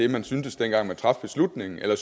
man syntes dengang man traf beslutningen eller